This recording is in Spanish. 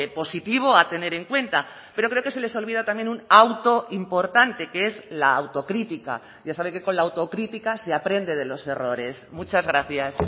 positivo a tener en cuenta pero creo que se les olvida también un auto importante que es la autocrítica ya sabe que con la autocrítica se aprende de los errores muchas gracias